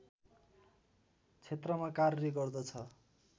क्षेत्रमा कार्य गर्दछ